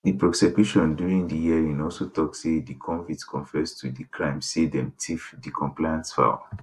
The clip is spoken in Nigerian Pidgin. di prosecution during di hearing also tok say di convicts confess to di crime say dem tiff di complainant fowls